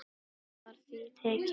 Hvernig var því tekið?